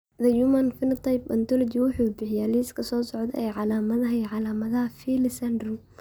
The Human Phenotype Ontology wuxuu bixiyaa liiska soo socda ee calaamadaha iyo calaamadaha Pillay syndrome.